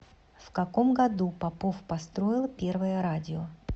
в каком году попов построил первое радио